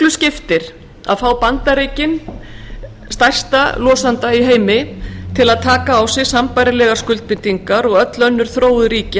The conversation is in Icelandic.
skiptir að fá bandaríkin til að taka á sig sambærilegar skuldbindingar og öll önnur þróuð ríki